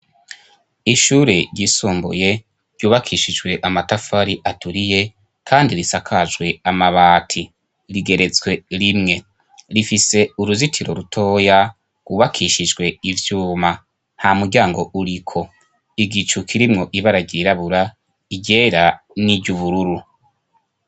Ishure ry'isumbuye ryubakishijwe amatafari aturiye kandi risakajwe amabati, rigeretswe rimwe, rifise uruzitiro rutoya gubakishijwe ibyuma nta muryango uriko, igicukirimwo ibaragirabura, igera, n'iryubururu.